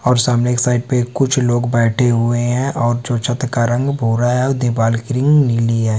और सामने एक साइड पे कुछ लोग बैठे हुए हैं और जो छत का रंग भूरा हैं और दीवाल की रंग नीली हैं।